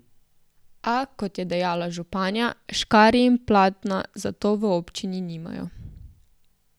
A, kot je dejala županja, škarij in platna za to v občini nimajo.